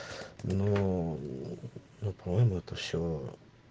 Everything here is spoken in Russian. ну ну по моему это все